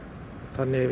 þannig